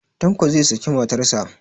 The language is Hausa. Tanko zai saki matarsa.